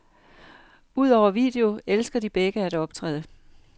Udover video elsker de begge at optræde.